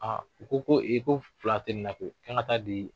u ko ko ko fila tɛ ni na koyi, an ka taa di